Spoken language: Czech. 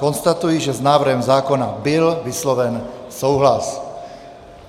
Konstatuji, že s návrhem zákona byl vysloven souhlas.